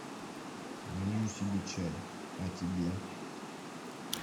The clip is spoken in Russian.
налью себе чай а тебе